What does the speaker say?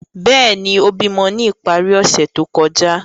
Bẹẹni, o bimọ ni ipari ose to kọja.